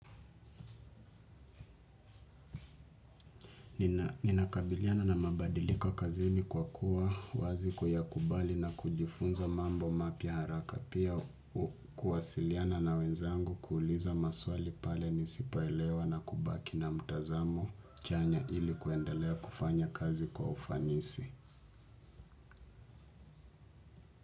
Nina kabiliana na mabadiliko kazini kwa kuwa wazi kuyakubali na kujifunza mambo mapya haraka. Pia kuwasiliana na wenzangu kuuliza maswali pale nisipoelewa na kubaki na mtazamo chanya ili kuendelea kufanya kazi kwa ufanisi.